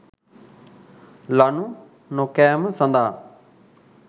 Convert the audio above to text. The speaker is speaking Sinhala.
ලණු නොකෑම සඳහා